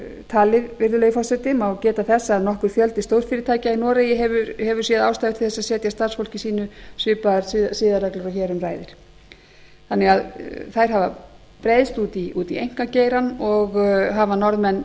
talið virðulegi forseti má geta þess að nokkur fjöldi stórfyrirtækja í noregi hefur séð ástæðu til þess að setja starfsfólki sínu svipaðar siðareglur og hér um ræðir þannig að þær hafa breiðst út í einkageirann og hafa norðmenn